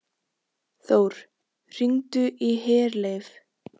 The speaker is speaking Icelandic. Þór, hringdu í Herleif.